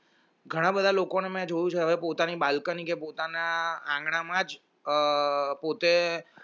ઘણા બધા લોકોને મેં જોવું છે હવે પોતાની balcony કે પોતાના આંગણામાં જ પોતે